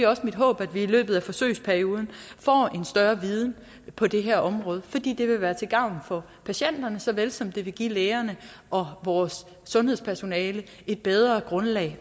også mit håb at vi i løbet af forsøgsperioden får en større viden på det her område fordi det vil være til gavn for patienterne så vel som det vil give lægerne og vores sundhedspersonale et bedre grundlag